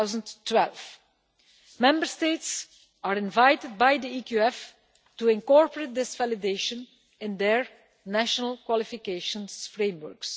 of 2012. Member States are invited by the EQF to incorporate this validation in their national qualification frameworks.